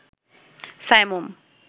Saimum